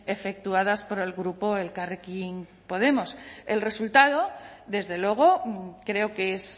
efectuadas por el grupo elkarrekin podemos el resultado desde luego creo que es